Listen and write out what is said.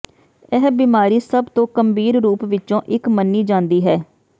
ਇਹ ਬਿਮਾਰੀ ਸਭ ਤੋਂ ਗੰਭੀਰ ਰੂਪ ਵਿੱਚੋਂ ਇੱਕ ਮੰਨੀ ਜਾਂਦੀ ਹੈ